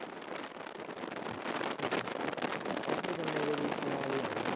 ਉਹ ਫਿਰ ਗੰਨੇ ਦੇ ਜੂਸਾਂ ਨਾਲ ਹੀ ਆਉਣਾ।